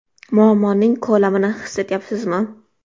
Muammoning ko‘lamini his etyapsizmi?